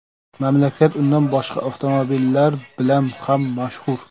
Mamlakat undan boshqa avtomobillar bilan ham mashhur.